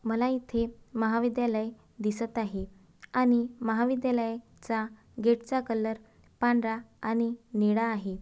मला इथे महाविद्यालय दिसत आहे आणि महाविद्यालय चा गेट चा कलर पांढरा आणि निळा आहे.